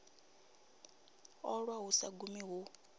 ṱolwa hu sa gumi hu